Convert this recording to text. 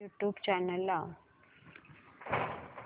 YouTube channel लाव